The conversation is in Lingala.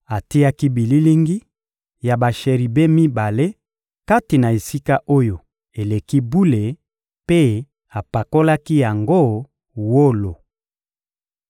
Atiaki bililingi ya basheribe mibale kati na Esika-Oyo-Eleki-Bule mpe apakolaki yango wolo.